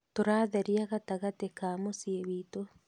"Tũratheria gatagatĩ ka mũciĩ wiitũ.